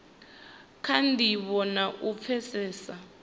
kha ndivho na u pfesesa